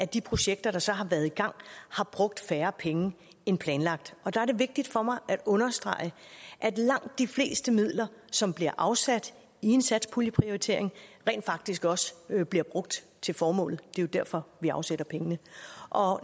de projekter der så har været i gang har brugt færre penge end planlagt og der er det vigtigt for mig at understrege at langt de fleste midler som bliver afsat i en satspuljeprioritering rent faktisk også bliver brugt til formålet det er jo derfor vi afsætter pengene